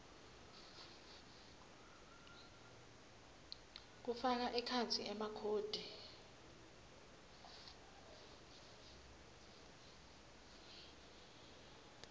kufaka ekhatsi emakhodi